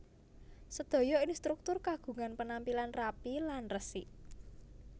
Sedaya instruktur kagungan penampilan rapi lan resik